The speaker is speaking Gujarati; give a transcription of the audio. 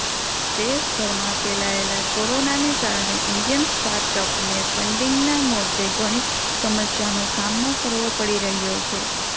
દેશભરમાં ફેલાયેલા કોરોનાને કારણે ઈન્ડિયન સ્ટાર્ટઅપને ફંડિગના મોર્ચે ઘણી સમસ્યાનો સામનો કરવો પડી રહ્યો છે